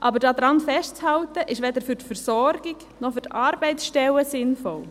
Aber daran festzuhalten, ist weder für die Versorgung noch für die Arbeitsstellen sinnvoll.